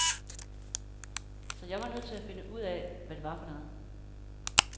Så jeg var nødt til at finde ud af, hvad det var for noget.